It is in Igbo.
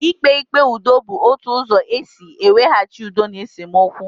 Ikpe ikpe ụdọ bu otu ụzọ esị iwehachi udo n' esemokwu